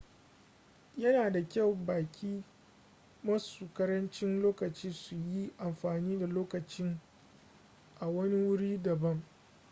yana da kyau baƙi masu ƙarancin lokaci su yi amfani da lokacin a wani wuri daban